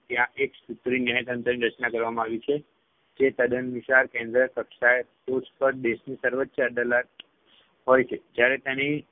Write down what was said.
ત્યાં એકસૂત્રીય ન્યાયતંત્રની રચના કરવામાં આવી છે જે તદ્દન વિશાળ કેન્દ્ર કક્ષાએ ટોચ પર દેશની સર્વોચ્ય અદાલત હોય છે જયારે તેની